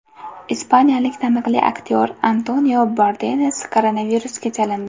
Ispaniyalik taniqli aktyor Antonio Banderas koronavirusga chalindi.